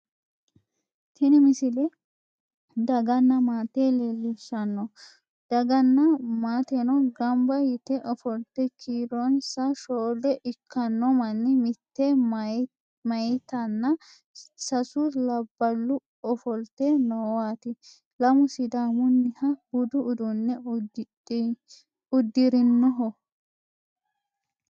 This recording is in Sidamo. tini misile daganna maate leellishshanno daganna maateno ganba yite ofolte kiironmsa shoole ikkanno manni mitte mayeetinna sasu labballu ofolte noowaati lamu sidaamunniha budu uduunne uddirinoho